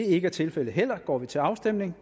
ikke er tilfældet går vi til afstemning